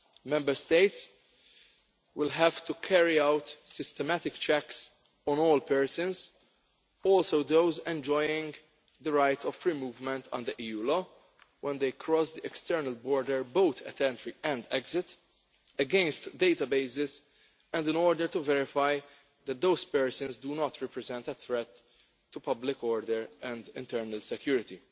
Member States will have to carry out systematic checks on all persons also those enjoying the right of free movement under EU law when they cross the external border, both at entry and exit, against databases and in order to verify that those persons do not represent a threat to public order and internal security.